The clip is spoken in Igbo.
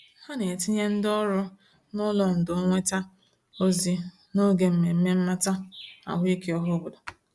Ha na-etinye ndị ọrụ n'ụlọ ndò nnweta ozi n'oge mmemme mmata ahụike ọhaobodo.